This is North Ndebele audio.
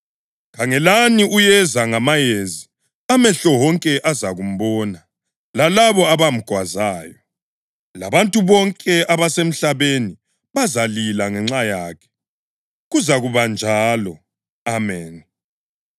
“Khangelani uyeza ngamayezi, amehlo wonke azakumbona, lalabo abamgwazayo” + 1.7 UDanyeli 7.13; labantu bonke abasemhlabeni “bazalila ngenxa yakhe.” + 1.7 UZakhariya 12.10 Kuzakuba njalo! Ameni.